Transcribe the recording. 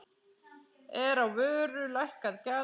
Er á vöru lækkað gjald.